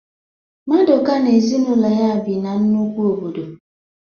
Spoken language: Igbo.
Maduka na ezinụlọ ya bi na nnukwu obodo